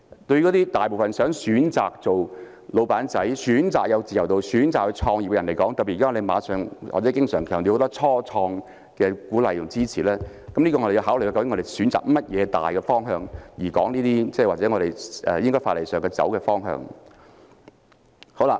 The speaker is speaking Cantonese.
對於大部分想選擇當小僱主、選擇有自由度、選擇創業的人而言，特別是在我們經常強調要鼓勵和支持初創的前提下，我們要考慮究竟選擇甚麼大方向，從而探討法例上應走的方向。